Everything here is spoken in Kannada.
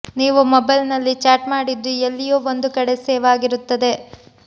ನೀವು ಮೊಬೈಲ್ನಲ್ಲಿ ಚಾಟ್ ಮಾಡಿದ್ದು ಎಲ್ಲಿಯೋ ಒಂದು ಕಡೆ ಸೇವ್ ಆಗಿರುತ್ತದೆ